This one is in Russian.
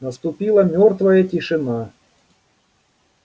наступила мёртвая тишина